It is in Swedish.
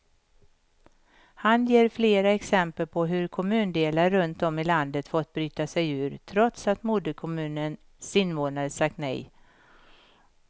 Han ger flera exempel på hur kommundelar runt om i landet fått bryta sig ur, trots att moderkommunens invånare sagt nej.